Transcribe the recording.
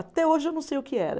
Até hoje eu não sei o que era.